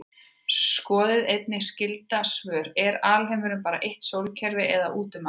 Skoðið einnig skyld svör: Er alheimurinn bara eitt sólkerfi eða út um allt?